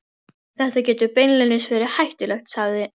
Þetta getur beinlínis verið hættulegt, sagði